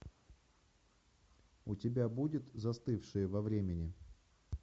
у тебя будет застывшие во времени